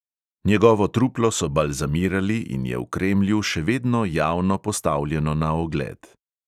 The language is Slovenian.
Njegovo truplo so balzamirali in je v kremlju še vedno javno postavljeno na ogled.